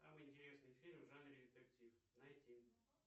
самый интересный фильм в жанре детектив найти